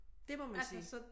Det må man sige